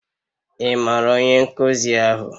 Ị maara onye nkuzi ahụ?